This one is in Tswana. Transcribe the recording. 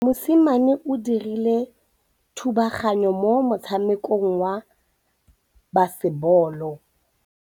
Mosimane o dirile thubaganyô mo motshamekong wa basebôlô.